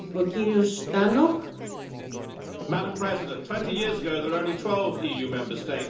Madam President, 20 years ago there were only 12 Member States and the single market was only a few months old.